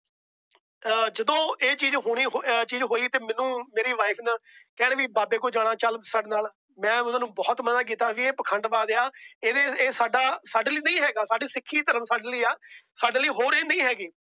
ਜਦੋ ਇਹ ਚੀਜ਼ ਹੋਣੀ ਅਰ ਹੋਈ ਤਾ ਮੈਨੂੰ ਮੇਰੀ wife ਨਾ ਕਹਿਣ ਬਾਬੇ ਕੋਲ ਜਾਣਾ ਚੱਲ ਸਾਡੇ ਨਾਲ। ਮੈ ਓਹਨਾ ਨੂੰ ਬਹੁਤ ਮਨਾ ਕੀਤਾ ਵੇ ਇਹ ਪਖੰਡ ਬਾਜ ਆ। ਇਹ ਸਾਡਾ ਸਾਡੇ ਲਈ ਨਹੀਂ ਹੇਗਾ ਸਾਡੇ ਸਿੱਖੀ ਧਰਮ ਸਾਡੇ ਲਈ ਹੈ। ਸਾਡੇ ਲਈ ਹੋਰ ਏ ਨਹੀਂ ਹੈਗੇ।